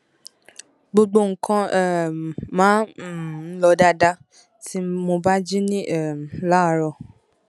gbogbo nǹkan um máa um ń lọ dáadáa tí mo bá jí um láàárọ